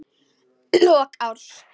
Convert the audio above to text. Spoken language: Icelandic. Lok árs.